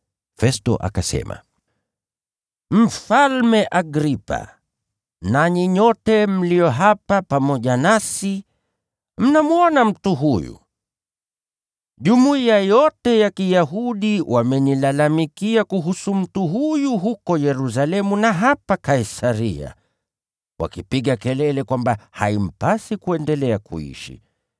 Festo akasema, “Mfalme Agripa, nanyi nyote mlio hapa pamoja nasi, mnamwona mtu huyu! Jumuiya yote ya Kiyahudi wamenilalamikia kuhusu mtu huyu huko Yerusalemu na hapa Kaisaria, wakipiga kelele kwamba haimpasi kuendelea kuishi.